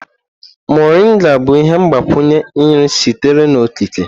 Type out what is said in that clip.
Moringa bụ ihe mgbakwunye nri sitere n'okike.